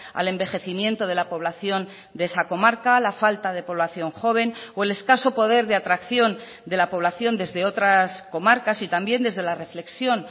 al envejecimiento de la población de esa comarca la falta de población joven o el escaso poder de atracción de la población desde otras comarcas y también desde la reflexión